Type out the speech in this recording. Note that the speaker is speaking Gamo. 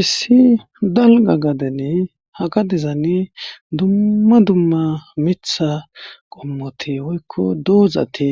Issi dalgga gadene haga dezani dumma dumma mitha qommoti woykko doozati